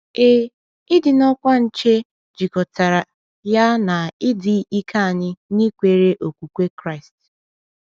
Ee, ịdị n’ọkwa nche jikọtara ya na ịdị ike anyị n’ikwere okwukwe Kraịst.